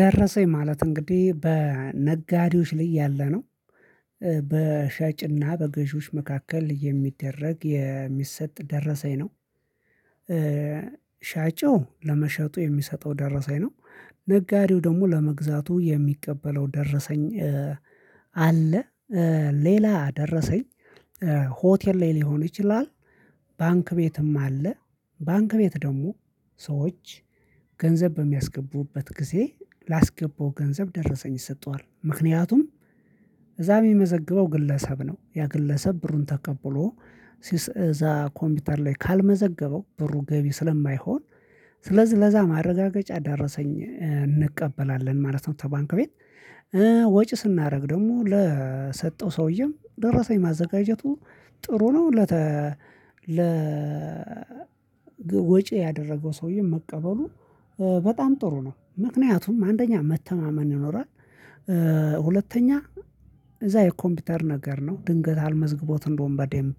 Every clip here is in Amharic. ደረሰኝ ማለት እንግዲህ በነጋዴዎች ላይ ያለነው በሻጭና በገዢዎች መካከል የሚደረግ የሚሰጥ ደረሰኝ ነው። ሻጭው ለመሸጡ የሚሰጠው ደረሰኝ ነው። ነጋዴው ደግሞ ለመግዛቱ የሚቀበለው ደረሰኝ። አለ። ሌላ ደረሰኝ ሆቴል ላይ ሊሆን ይችላል። ባንክ ቤትም አለ። ባንክ ቤት ደግሞ ሰዎች ገንዘብ በሚያስገቡበት ጊዜ ላስገባው ገንዘብ ደረሰኝ ይሰጠዋል ምክንያቱም እዛ የሚመዘግበው ግለሰብ ነው ያ ግለሰብ ብሩን ተቀብሎ ሲስ እዛ ኮምፒውተር ላይ ካልመዘገበው ብሩ ገቢ ስለማይሆን። ስለዚህ ለዛ ማረጋገጫ ደረሰኝ እንቀበላለን ማለት ነው። ተባንክ ቤት ወጪ ስናደርግ ደግሞ ለሰጠው ሰውዬም ደረሰኝ ማዘጋጀቱ ጥሩ ነው። ለተ ለ ወጪ ያደረገው ሰውዬ መቀበሉ በጣም ጥሩ ነው ምክንያቱም አንደኛ መተማመን ይኖራል። ሁለተኛ እዛ የኮምፒውተር ነገር ነው ድንገት አልመዝግቦት እንደውም በዴንብ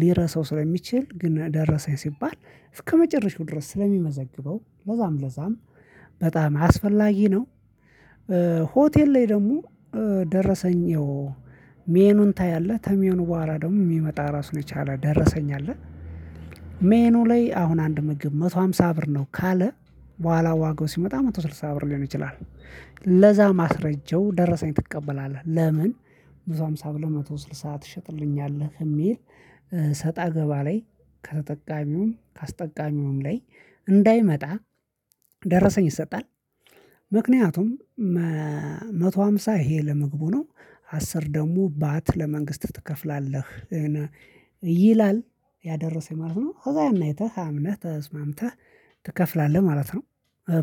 ሊረሳው ስለሚችል ግን ደረሰኝ ሲባል እስከመጨረሻው ድረስ ስለሚመዘግበው ለዛም ለዛም በጣም አስፈላጊ ነው። ሆቴል ላይ ደግሞ ደረሰኝ ይኸው ሜኖን ታያለህ ተሜኖ በኋላ ደግሞ የሚመጣ ራሱን የቻለ ደረሰኝ አለ። ሜኑ ላይ አሁን አንድ ምግብ አንድ መቶ አምሳ ብር ነው ካለ በኋላ ዋጎ ሲመጣ አንድ መቶ ስድሳ ብር ሊሆን ይችላል። ለዛ ማስረጃው ደረሰኝ ትቀበላለህ ለምን? ብዙ ሃምሳ ብለህ መቶ ስልሳ ትሸጥልኛለህ እሚል ሰጣ ገባ ላይ ከተጠቃሚውም ካስጠቃሚውም ላይ እንዳይመጣ ደረሰኝ ይሰጣል። ምክንያቱም አንድ መቶ አምሳ ይሄ ለመግቡ ነው አስር ደግሞ ባት ለመንግስት ትከፍላለህ። ይላል ያደረሰኝ ማለት ነው። ከዛ ያን አይተህ አምነህ ተስማምተህ ትከፍላለህ ማለት ነው።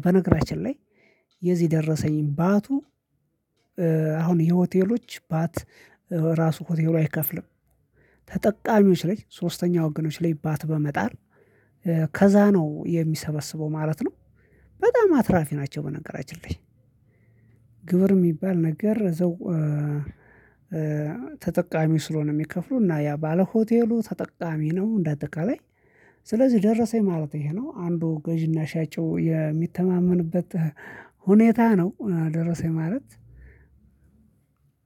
በነገራችን ላይ የዚህ ደረሰኝ ባቱ አሁን የሆቴሎች ባት ራሱ ሆቴሉ አይከፍልም። ተጠቃሚዎች ላይ ሶስተኛ ወገኖች ላይ ባት በመጣል ከዛ ነው የሚሰበስበው ማለት ነው። በጣም አትራፊ ናቸው። በነገራችን ላይ ግብር የሚባል ነገር ዘው ተጠቃሚ ስለሆነ የሚከፍለው እና ያ ባለሆቴሉ ተጠቃሚ ነው እንደ አጠቃላይ ስለዚህ ደረሰኝ ማለት ይሄ ነው አንዱ ገዢና ሻጩ የሚተማመንበት ሁኔታ ነው። ደርሰኝ የማለት